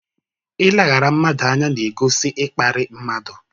Ileghara mmadụ anya n'egosi ịkparị mmadụ.